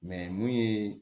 mun ye